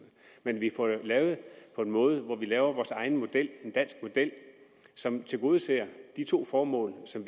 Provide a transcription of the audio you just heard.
men vi får lavet på en måde hvor vi laver vores egen model altså en dansk model som tilgodeser de to formål som